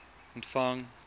ontvang